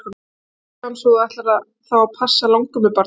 Jæja elskan, svo að þú ætlar þá að passa langömmubarnið?